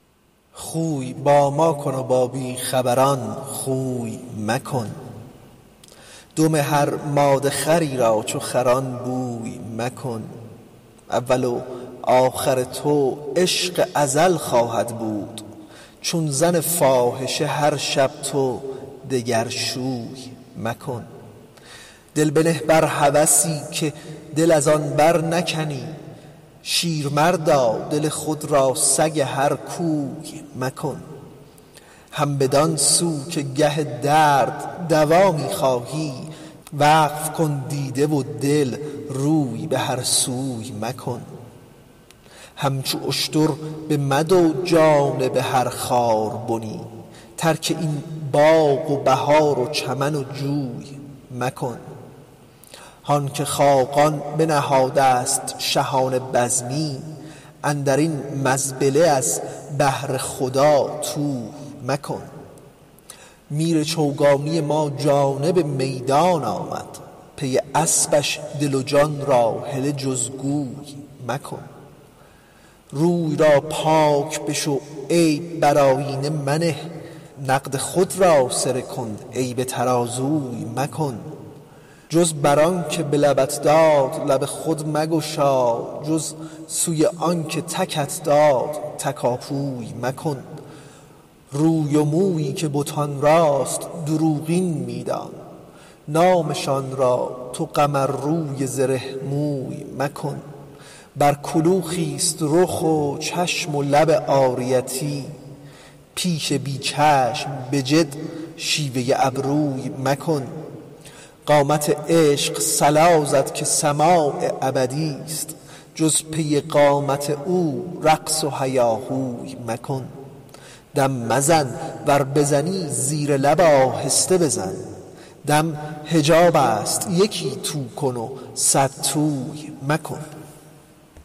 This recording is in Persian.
خوی با ما کن و با بی خبران خوی مکن دم هر ماده خری را چو خران بوی مکن اول و آخر تو عشق ازل خواهد بود چون زن فاحشه هر شب تو دگر شوی مکن دل بنه بر هوسی که دل از آن برنکنی شیرمردا دل خود را سگ هر کوی مکن هم بدان سو که گه درد دوا می خواهی وقف کن دیده و دل روی به هر سوی مکن همچو اشتر بمدو جانب هر خاربنی ترک این باغ و بهار و چمن و جوی مکن هان که خاقان بنهاده است شهانه بزمی اندر این مزبله از بهر خدا طوی مکن میر چوگانی ما جانب میدان آمد پی اسپش دل و جان را هله جز گوی مکن روی را پاک بشو عیب بر آیینه منه نقد خود را سره کن عیب ترازوی مکن جز بر آن که لبت داد لب خود مگشا جز سوی آنک تکت داد تکاپوی مکن روی و مویی که بتان راست دروغین می دان نامشان را تو قمرروی زره موی مکن بر کلوخی است رخ و چشم و لب عاریتی پیش بی چشم به جد شیوه ابروی مکن قامت عشق صلا زد که سماع ابدی است جز پی قامت او رقص و هیاهوی مکن دم مزن ور بزنی زیر لب آهسته بزن دم حجاب است یکی تو کن و صدتوی مکن